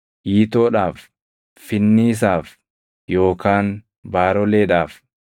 iitoodhaaf, finniisaaf yookaan baaroleedhaaf,